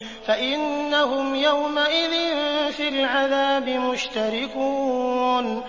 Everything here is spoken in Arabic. فَإِنَّهُمْ يَوْمَئِذٍ فِي الْعَذَابِ مُشْتَرِكُونَ